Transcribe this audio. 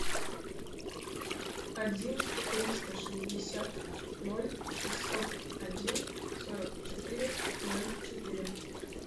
один триста шестьдесят ноль шестьсот один сорок четыре ноль четыре